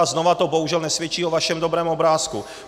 A znovu to bohužel nesvědčí o vašem dobrém obrázku.